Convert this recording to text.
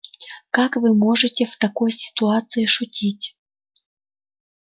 как вы можете в такой ситуации шутить